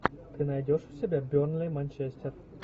ты найдешь у себя бернли манчестер